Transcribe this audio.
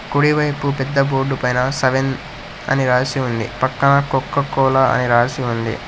కుడివైపు పెద్ద బోర్డు పైనా సెవెన్ అని రాసి ఉంది పక్కన కొకో కోల అని రాసి ఉంది.